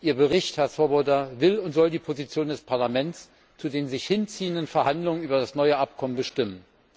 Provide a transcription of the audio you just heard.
Ihr Bericht, Herr Swoboda, will und soll die Position des Parlaments zu den sich hinziehenden Verhandlungen über das neue Abkommen bestimmen.